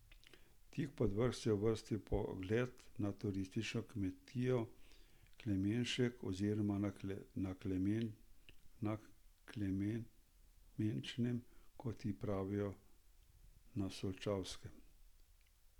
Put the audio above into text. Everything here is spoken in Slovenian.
Tik pod vrh se je uvrstil pogled na turistično kmetijo Klemenšek oziroma Na Klemenčem, kot ji pravijo na Solčavskem.